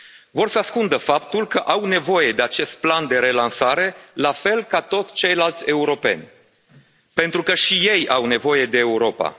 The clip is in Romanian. Vor să ascundă faptul că au nevoie de acest plan de relansare la fel ca toți ceilalți europeni pentru că și ei au nevoie de Europa.